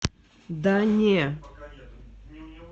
да не